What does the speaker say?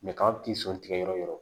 kaba t'i sɔn tigɛ yɔrɔ o yɔrɔ